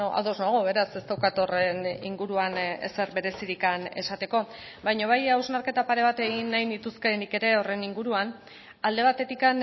ados nago beraz ez daukat horren inguruan ezer berezirik esateko baina bai hausnarketa pare bat egin nahi nituzke nik ere horren inguruan alde batetik